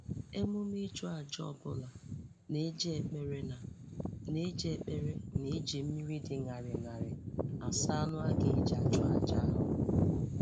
Emume ịchụ aja ọbụla na-eji ekpere na na-eji ekpere na iji mmiri dị ṅarị ṅarị asa anụ a ga-eji achụ aja ahụ